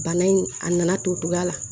Bana in a nana to cogoya la